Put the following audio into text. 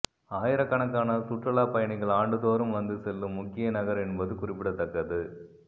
ஆயிரக்கணக்கான சுற்றுலாப் பயணிகள் ஆண்டுதோறும் வந்து செல்லும் முக்கிய நகர் என்பது குறிப்பிடத்தக்கது